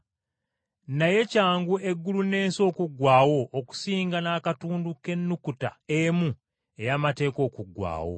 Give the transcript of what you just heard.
Naye kyangu eggulu n’ensi okuggwaawo okusinga n’akatundu k’ennukuta emu ey’amateeka okuggwaawo.